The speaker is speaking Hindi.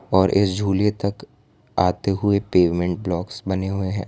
और इस झूले तक आते हुए पेमेंट लॉक्स बने हुए हैं।